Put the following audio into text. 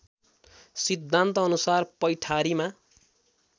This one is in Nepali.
सिद्धान्तअनुसार पैठारीमा